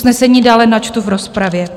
Usnesení dále načtu v rozpravě.